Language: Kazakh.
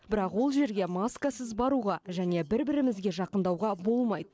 бірақ ол жерге маскасыз баруға және бір бірімізге жақындауға болмайды